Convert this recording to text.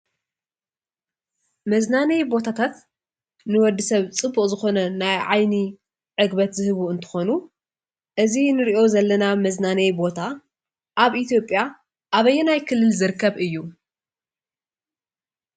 መዝናነይ ቦታታት ንወዲ ሰብ ፅቡቅ ዝኮነ ናይ ዓይኒ ዕግበት ዝህቡ እንትኮኑ እዚ እንሪኦ ዘለና መዝናነይ ቦታ ኣብ ኢትዮጵያ ኣበየናይ ክልል ዝርከብ እዩ?